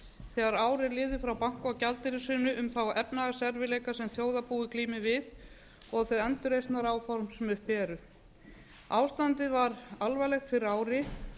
þegar ár er liðið frá banka og gjaldeyrishruni um þá efnahagserfiðleika sem þjóðarbúið glímir við og þau andreisnaráform sem uppi eru ástandið var alvarlegt fyrir ári